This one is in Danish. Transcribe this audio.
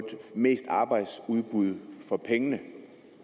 mest arbejdsudbud for pengene